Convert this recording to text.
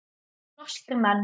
Norskir menn.